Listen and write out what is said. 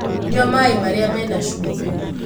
Nyua maī marīa mena cumbī.